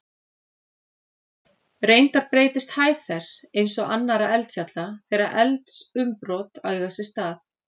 Reyndar breytist hæð þess, eins og annarra eldfjalla, þegar eldsumbrot eiga sér stað.